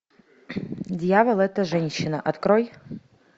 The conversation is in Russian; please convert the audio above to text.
дьявол это женщина открой